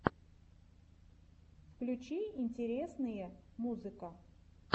включи интересные музыка